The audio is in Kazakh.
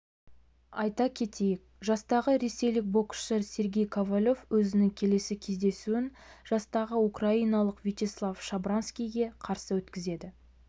айта кетейік жастағы ресейлік боксшы сергей ковалев өзінің келесі кездесуін жастағы украиналық вячеслав шабранскийге қарсы өткізеді